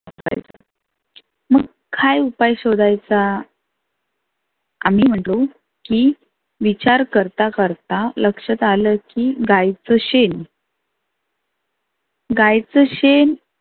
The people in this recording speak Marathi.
मग काय उपाय शोधायचा? आम्ही म्हटलो की विचार करता करता लक्षात आलं की गाईचं शेन गाईच शेन